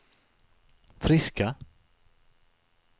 friska